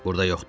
Burda yoxdur.